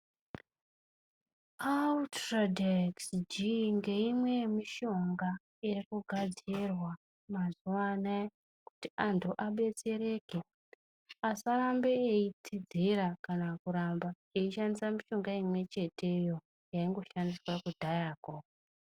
Ultadex- G ngeimwe yemishonga irikunasirwa mazuva anaya kuti antu adetsereke, asarambe eitsidzira kana kuramba eingoshandisa mishonga imwecheteyo yaingoshandiswa kudhayako.